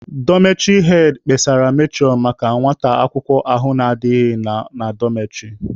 Dọmetịrị hed kpesara metụrọn maka nwata akwụkwọ ahụ na-adighị nọ na dọmetịrị.